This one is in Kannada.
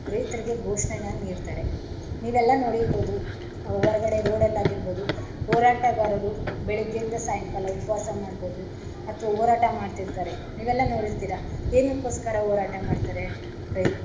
ಅಂತ ರೈತರಿಗೆ ಘೋಷಣೆಯನ್ನ ನೀಡ್ತಾರೆ ನೀವೆಲ್ಲ ನೋಡಿರ್ಬೋದು ಹೊರಗಡೆ ರೋಡಲ್ಲಾಗಿರ್ಬೋದು ಹೋರಾಟಗಾರರು ಬೆಳ್ಳಿಗೆಯಿಂದ ಸಾಯಂಕಾಲ ಉಪವಾಸ ಮಾಡ್ಬೋದು ಅಥವಾ ಹೋರಾಟ ಮಾಡ್ತಿರ್ತಾರೆ ನೀವೆಲ್ಲ ನೋಡಿರ್ತಿರಾ ಏನ್ಕೋಸ್ಕರ ಹೋರಾಟ.